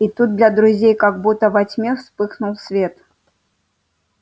и тут для друзей как будто во тьме вспыхнул свет